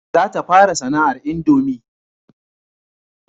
Za ta fara sana'ar indomi